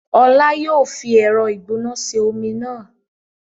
Ọlá yìí ó fi ẹ̀rọ ìgbóná ṣe omi náà